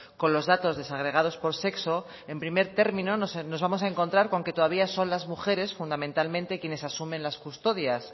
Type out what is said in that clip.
con los datos desagregados por sexo en primer término nos vamos a encontrar con que con que todavía son las mujeres fundamentalmente quienes asumen las custodias